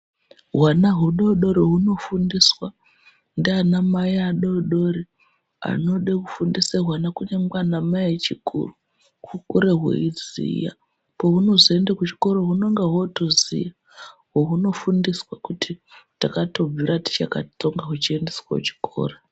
Hwana hudodorihunofundiswa ndiana mai adodorianode kufundisa hwana kunyangwe ana Mai echikuru pahunozoenda kuchikora hunenge hwooziya hunoziya kuti takatobvira tiriadodori